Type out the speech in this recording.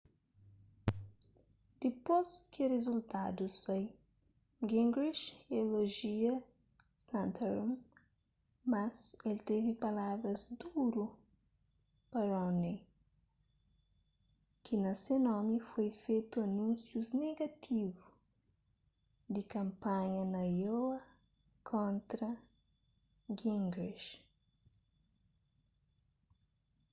dipôs ki rizultadus sai gingrich elojia santorum mas el teve palavras duru pa romney ki na se nomi foi fetu anúnsius negativu di kanpanha na iowa kontra gingrich